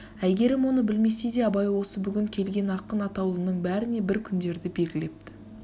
әйгерім оны білмесе де абай осы бүгін келген ақын атаулының бәріне бір күндерді белгілепті